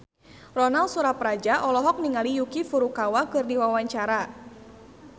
Ronal Surapradja olohok ningali Yuki Furukawa keur diwawancara